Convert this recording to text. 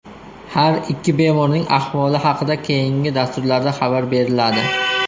Har ikki bemorning ahvoli haqida keyingi dasturlarda xabar beriladi.